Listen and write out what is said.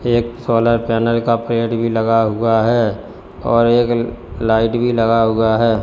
एक solar panel का पेड़ भी लगा हुआ है और एक लाइट भी लगा हुआ है।